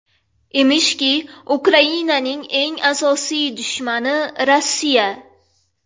Emishki, Ukrainaning eng asosiy dushmani Rossiya.